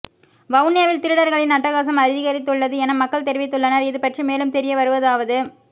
வவுனியாவில் திருடர்களின் அட்டகாசம் அதிகரித்துள்ளது என மக்கள் தெரிவித்துள்ளனர் இது பற்றி மேலும் தெரிய வருவதாவது